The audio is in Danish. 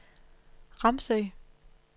Ramsø